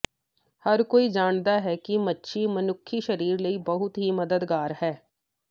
ਹਰ ਕੋਈ ਜਾਣਦਾ ਹੈ ਕਿ ਮੱਛੀ ਮਨੁੱਖੀ ਸਰੀਰ ਲਈ ਬਹੁਤ ਹੀ ਮਦਦਗਾਰ ਹੈ